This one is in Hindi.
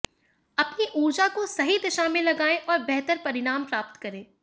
अपनी ऊर्जा को सही दिशा में लगाएं और बेहतर परिणाम प्राप्त करें